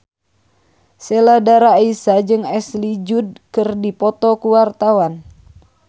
Sheila Dara Aisha jeung Ashley Judd keur dipoto ku wartawan